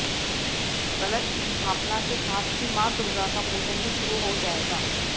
कलश स्थापना के साथ ही मां दुर्गा का पूजन भी शुरू हो जाएगा